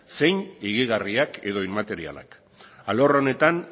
zein higigarriak edo inmaterialak alor honetan